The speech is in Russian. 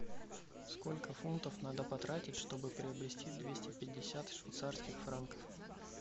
сколько фунтов надо потратить чтобы приобрести двести пятьдесят швейцарских франков